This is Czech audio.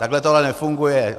Takhle to ale nefunguje.